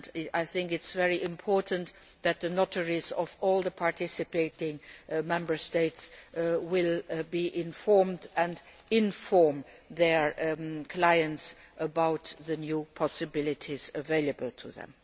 I think it is very important that notaries in all the participating Member States will be informed and will inform their clients about the new possibilities available to them.